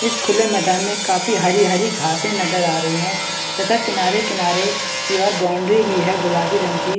इस खुले मैदान में काफी हरी-हरी घासे नजर आ रही है तथा किनारे-किनारे की ओर बाउंड्री है गुलाबी रंग की।